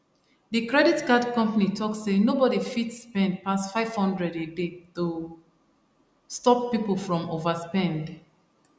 the credit card company talk say nobody fit spend pass 500 a day to stop people from overspend